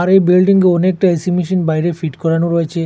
আর এই বিল্ডিংয়ে অনেকটা এ_সি মেশিন বাইরে ফিট করানো রয়েচে